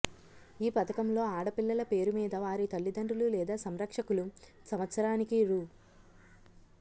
ఈ పథకంలో ఆడ పిల్లల పేరు మీద వారి తల్లిదండ్రులు లేదా సంరక్షకులు సంవత్సరానికి రూ